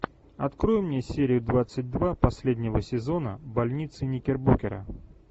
открой мне серию двадцать два последнего сезона больница никербокера